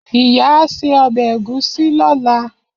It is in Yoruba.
Iya a se obe egusi lola.